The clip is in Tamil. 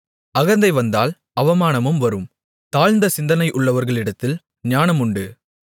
அகந்தை வந்தால் அவமானமும் வரும் தாழ்ந்த சிந்தை உள்ளவர்களிடத்தில் ஞானம் உண்டு